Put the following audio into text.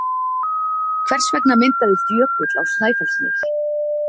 Hvers vegna myndaðist jökull á Snæfellsnesi?